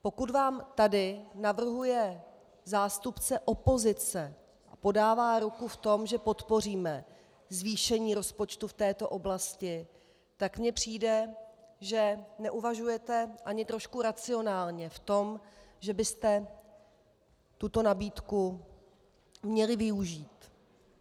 Pokud vám tady navrhuje zástupce opozice a podává ruku v tom, že podpoříme zvýšení rozpočtu v této oblasti, tak mně přijde, že neuvažujete ani trošku racionálně v tom, že byste tuto nabídku měli využít.